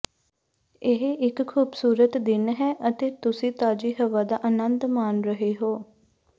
ਇਹ ਇੱਕ ਖੂਬਸੂਰਤ ਦਿਨ ਹੈ ਅਤੇ ਤੁਸੀਂ ਤਾਜ਼ੀ ਹਵਾ ਦਾ ਆਨੰਦ ਮਾਣ ਰਹੇ ਹੋ